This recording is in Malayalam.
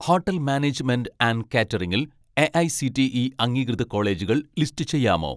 ഹോട്ടൽ മാനേജ്മെന്റ് ആൻഡ് കാറ്ററിംഗിൽ എ.ഐ.സി.ടി.ഇ അംഗീകൃത കോളേജുകൾ ലിസ്റ്റ് ചെയ്യാമോ